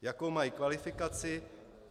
Jakou mají kvalifikaci?